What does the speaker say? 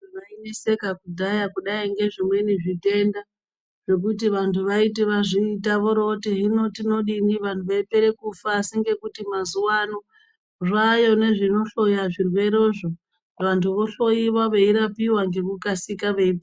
Vaineseka kudhaya kudai ngezvimweni zvitenda zvekuti vanhu vaiti vazviita vorooti hino tinodini vanhu veipere kufa asi ngekuti mazuwa ano zvaayo nezvinohloya zvirwere zvo vantu vohloyiwa veirapiwa ngekukasika.